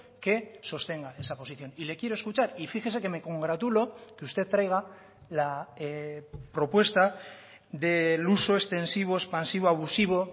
que sostenga esa posición y le quiero escuchar y fíjese que me congratulo que usted traiga la propuesta del uso extensivo expansivo abusivo